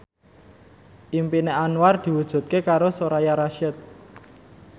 impine Anwar diwujudke karo Soraya Rasyid